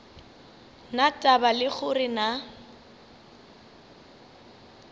na taba le gore na